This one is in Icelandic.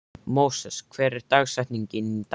Móses, hver er dagsetningin í dag?